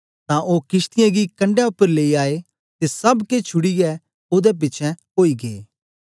तां ओ किशतीयें गी कंडै उपर लेई आए ते सब केछ छुड़ीयै ओदे पिछें आई गै